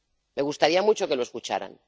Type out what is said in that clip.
Me gustaría mucho que lo escucharan.